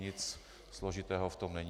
Nic složitého v tom není.